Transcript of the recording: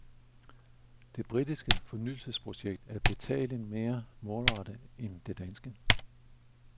Det britiske fornyelsesprojekt er betragteligt mere målrettet end det danske.